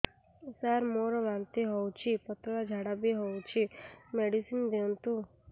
ସାର ମୋର ବାନ୍ତି ହଉଚି ପତଲା ଝାଡା ବି ହଉଚି ମେଡିସିନ ଦିଅନ୍ତୁ